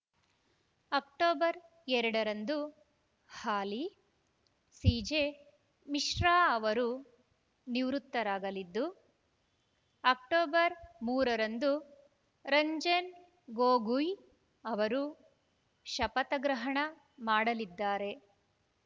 October ಎರಡ ರಂದು ಹಾಲಿ ಸಿಜೆ ಮಿಶ್ರಾ ಅವರು ನಿವೃತ್ತರಾಗಲಿದ್ದು ಅಕ್ಟೋಬರ್ ಮೂರ ರಂದು ರಂಜನ್‌ ಗೊಗೊಯ್‌ ಅವರು ಶಪಥಗ್ರಹಣ ಮಾಡಲಿದ್ದಾರೆ